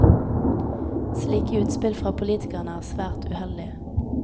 Slike utspill fra politikerne er svært uheldige.